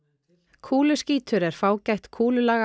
kúluskítur er fágætt kúlulaga